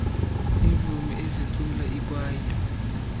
iimvumi ezicula ikwaito